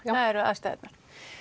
eru aðstæðurnar